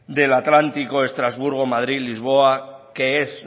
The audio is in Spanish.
del atlántico estrasburgo madrid lisboa que es